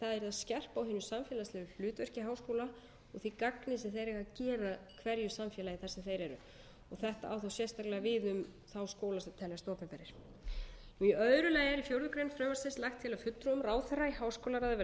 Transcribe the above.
skerpa á hinu samfélagslega hlutverki háskóla og því gagni sem þeir eigi að gera hverju samfélagi þar sem þeir eru þetta á þá sérstaklega við um þá skóla sem teljast opinberir í öðru lagi er í fjórða grein frumvarpsins lagt til að fulltrúum ráðherra í háskólaráði verði